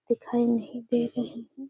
दिखाई नहीं दे रही है।